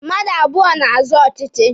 Mmadụ abụọ na-azọ ọchịchị.